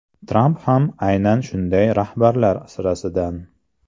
Tramp ham aynan shunday rahbarlar sirasidan.